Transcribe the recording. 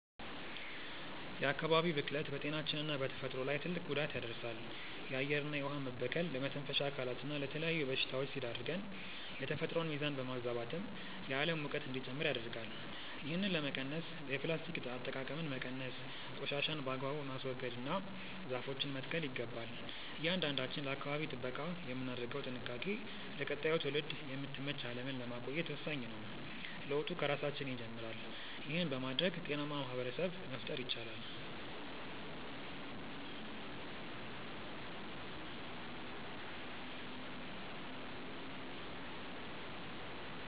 የአካባቢ ብክለት በጤናችንና በተፈጥሮ ላይ ትልቅ ጉዳት ያደርሳል። የአየርና የውኃ መበከል ለመተንፈሻ አካላትና ለተለያዩ በሽታዎች ሲዳርገን፣ የተፈጥሮን ሚዛን በማዛባትም የዓለም ሙቀት እንዲጨምር ያደርጋል። ይህንን ለመቀነስ የፕላስቲክ አጠቃቀምን መቀነስ፣ ቆሻሻን በአግባቡ ማስወገድና ዛፎችን መትከል ይገባል። እያንዳንዳችን ለአካባቢ ጥበቃ የምናደርገው ጥንቃቄ ለቀጣዩ ትውልድ የምትመች ዓለምን ለማቆየት ወሳኝ ነው። ለውጡ ከራሳችን ይጀምራል። ይህን በማድረግ ጤናማ ማኅበረሰብ መፍጠር ይቻላል።